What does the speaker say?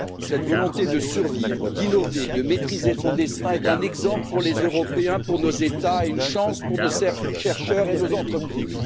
Cette volonté de survivre, d'innover et de maîtriser son destin est un exemple pour les Européens, pour nos États et une chance pour nos chercheurs et nos entreprises.